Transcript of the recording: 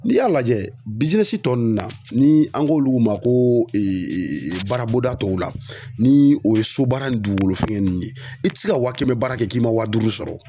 N'i y'a lajɛ tɔ ninnu na, ni an k'olu ma ko baarabonda tɔw la, ni o ye sobaara ni dugukolo feere ninnu ye, i ti se ka wa kɛmɛ baara kɛ, k'i ma wa duuru sɔrɔ